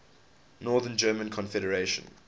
north german confederation